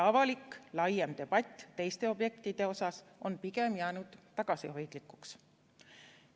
Avalik laiem debatt teiste objektide üle on jäänud pigem tagasihoidlikuks.